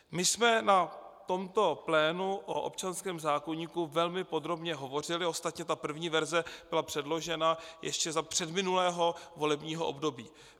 My jsme na tomto plénu o občanském zákoníku velmi podrobně hovořili, ostatně ta první verze byla předložena ještě za předminulého volebního období.